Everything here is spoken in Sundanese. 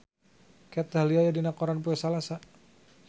Kat Dahlia aya dina koran poe Salasa